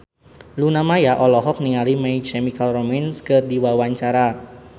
Luna Maya olohok ningali My Chemical Romance keur diwawancara